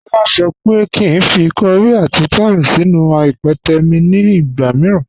Ọla sọ pé kí n fí kọ̀ríì àti thyme sínú ìpẹtẹ̀ mi ni ìgba míìràn.